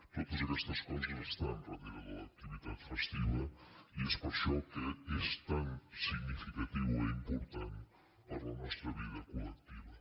totes aquestes coses estan darrere de l’activitat festiva i és per això que és tan significativa i important per a la nostra vida col·lectiva